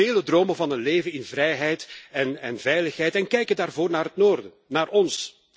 Velen dromen van een leven in vrijheid en veiligheid en kijken daarvoor naar het noorden, naar ons.